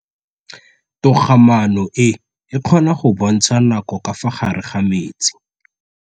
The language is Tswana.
Toga-maanô e, e kgona go bontsha nakô ka fa gare ga metsi.